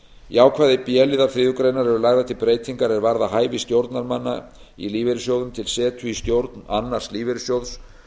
í ákvæði b liðar þriðju greinar eru lagðar til breytingar er varða hæfi stjórnarmanna í lífeyrissjóðum til setu í stjórn annars lífeyrissjóðs